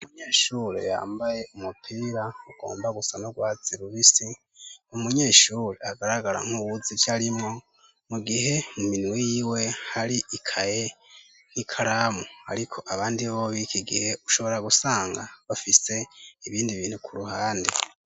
Umunyeshure yambaye umupira ugomba gusa nurwatsi rubisi ni umunyeshure agomba gusa nkuwuzi ivyo arimwo ni mugihe afise ikaramu muminwe aho abandi muri kino gihe ushobora gusanga bafise ibindi bintu kuruhande.